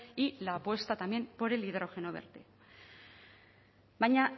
y la apuesta también por el hidrógeno verde baina